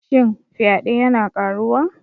Shin fyade yana ƙaruwa?